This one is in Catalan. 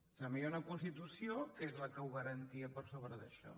també hi ha una constitució que és la que ho garantia per sobre d’això